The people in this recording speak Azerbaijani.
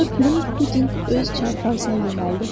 Qoca Pülüm Pudinq öz çarpayısına yönəldi.